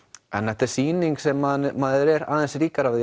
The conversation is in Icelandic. þetta er sýning sem maður er aðeins ríkari